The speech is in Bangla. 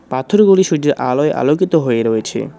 পাথরগুলি সূর্যের আলোয় আলোকিত হয়ে রয়েছে।